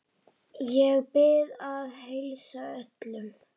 Ég bið að heilsa öllum.